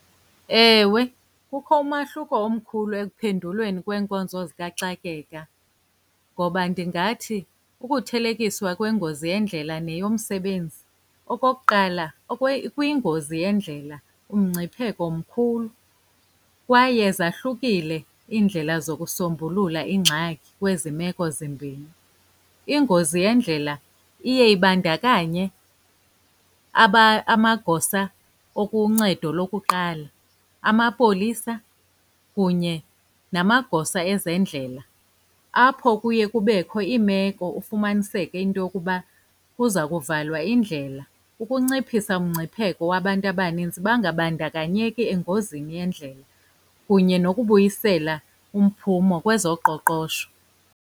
Ewe, kukho umahluko omkhulu ekuphenduleni kweenkonzo zikaxakeka ngoba ndingathi ukuthelekiswa kwengozi yendlela neyomsebenzi. Okokuqala, kwingozi yendlela umngcipheko mkhulu kwaye zahlukile iindlela zokusombulula iingxaki kwezi meko zimbini. Ingozi yendlela iye ibandakanye amagosa akuncedo lokuqala, amapolisa, kunye namagosa ezendlela. Apho kuye kubekho iimeko ufumaniseke into yokuba kuza kuvalwa indlela ukunciphisa umngcipheko wabantu abanintsi bangabandakanyeki engozini yendlela, kunye nokubuyisela umphumo kwezoqoqosho.